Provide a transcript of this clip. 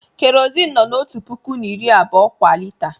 Kerọzin nọ n'ọtu pụkụ na iri abụọ kwa lita.